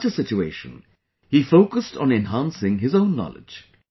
In such a situation, he focused on enhancing his own knowledge